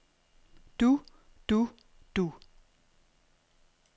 du du du